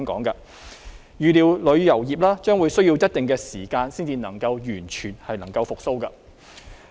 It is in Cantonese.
預料旅遊業將需要一定時間才能夠完全復蘇。